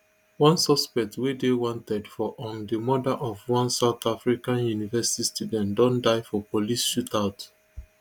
one suspect wey dey wanted for um di murder of one south african university student don die for police shootout